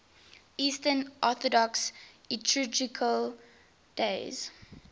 eastern orthodox liturgical days